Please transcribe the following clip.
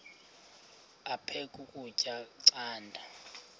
aphek ukutya canda